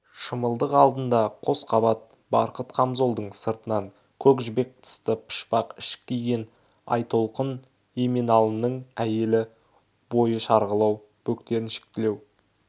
шымылдық алдында қос қабат барқыт қамзолдың сыртынан көк жібек тысты пұшпақ ішік киген айтолқынеменалының әйелі бойы шарғылау бөктеріншектілеу